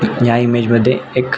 या इमेज मध्ये एक --